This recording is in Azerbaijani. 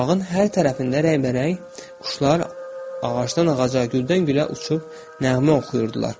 Bağın hər tərəfində rəngbərəng quşlar ağacdan ağaca, güldən gülə uçub nəğmə oxuyurdular.